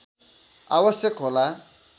आवश्यक होला